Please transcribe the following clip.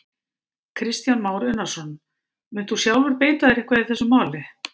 Kristján Már Unnarsson: Munt þú sjálfur beita þér eitthvað í þessu máli?